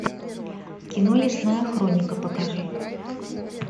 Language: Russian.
кино лесная хроника покажи